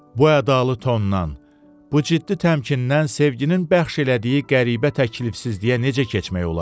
Bu ədalı tondan, bu ciddi təmkindən sevginin bəxş elədiyi qəribə təklifsizliyə necə keçmək olar?